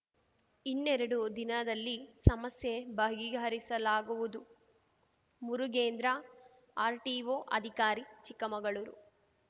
ಇನ್ನೆರಡು ದಿನದಲ್ಲಿ ಸಮಸ್ಯೆ ಬಗೆಹರಿಸಲಾಗುವುದು ಮುರುಗೇಂದ್ರ ಆರ್‌ಟಿಒ ಅಧಿಕಾರಿ ಚಿಕ್ಕಮಗಳೂರು